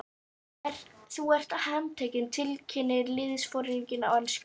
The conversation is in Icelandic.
Þú ert handtekinn tilkynnti liðsforinginn á ensku.